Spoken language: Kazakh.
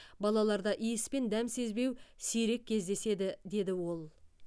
балаларда иіс пен дәм сезбеу сирек кездеседі деді ол